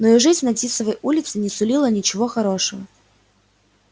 но и жизнь на тисовой улице не сулила ничего хорошего